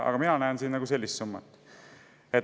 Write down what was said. Aga mina näen siin sellist summat.